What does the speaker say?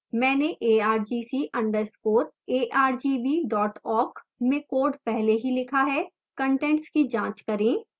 मैंने argc _ argv awk में code पहले ही लिखा है